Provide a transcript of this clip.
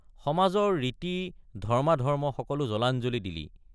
সমাজৰ ৰীতি ধৰ্ম্মাধৰ্ম্ম সকলো জলাঞ্জলি দিলি।